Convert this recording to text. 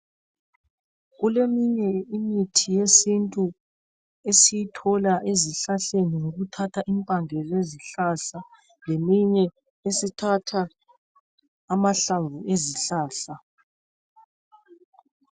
Kuleminye imithi yesintu esiyithola ezihlahleni ngokuthatha impande zezihlahla leminye esithatha amahlamvu ezihlahla .